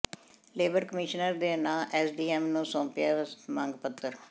labour commissioner ਦੇ ਨਾਂ SDM ਨੂੰ ਸੌਂਪਿਆ ਮੰਗ ਪੱਤਰ